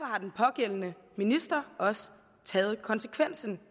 har den pågældende minister også taget konsekvensen